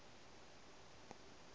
o ka re ke mo